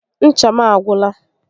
Ncha m agwụla